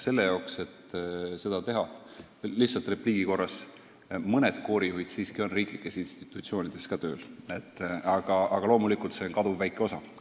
Aga lihtsalt repliigi korras: mõned koorijuhid siiski on riiklikes institutsioonides ka tööl, aga loomulikult on neid kaduvväike osa.